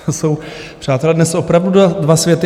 To jsou, přátelé, dnes opravdu dva světy.